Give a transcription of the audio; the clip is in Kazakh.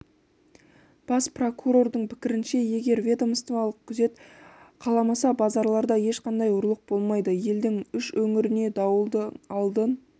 бас прокурордың пікірінше егер ведомстволық күзет қаламаса базарларда ешқандай ұрлық болмайды елдің үш өңіріне дауылды алдын